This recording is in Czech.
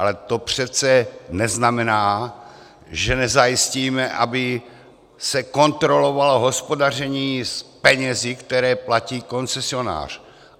Ale to přece neznamená, že nezajistíme, aby se kontrolovalo hospodaření s penězi, které platí koncesionář.